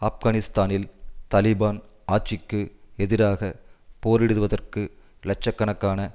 ஆப்கானிஸ்தானில் தலிபான் ஆட்சிக்கு எதிராக போரிடுவதற்கு இலட்ச கணக்கான